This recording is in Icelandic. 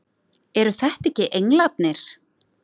Eru þetta ekki englarnir!